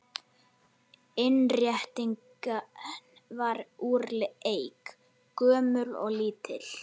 Innréttingin var úr eik, gömul og lítil.